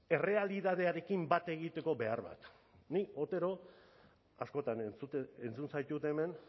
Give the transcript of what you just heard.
errealitatearekin bat egiteko behar bat nik otero askotan entzun zaitut hemen